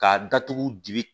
K'a datugu di